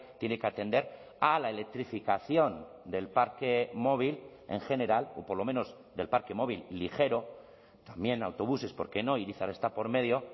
tiene que atender a la electrificación del parque móvil en general o por lo menos del parque móvil ligero también autobuses por qué no irizar está por medio